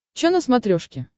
че на смотрешке